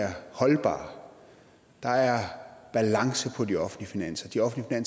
er holdbare der er balance i de offentlige finanser de offentlige